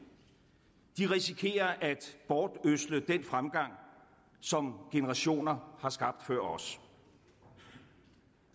risikerer at bortødsle den fremgang som generationer har skabt før os